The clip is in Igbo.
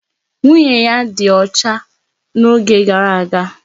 Nwunye ya ọdi ọcha n'oge gara aga.